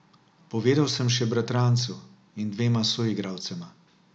Povedal sem še bratrancu in dvema soigralcema.